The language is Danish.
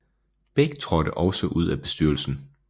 Beck traadte også ud af bestyrelsen